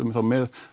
þá með